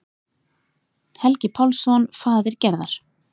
Helgi Pálsson, faðir Gerðar.